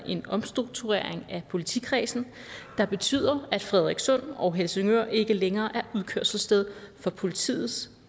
en omstrukturering af politikredsen der betyder at frederikssund og helsingør ikke længere er udkørselssted for politiets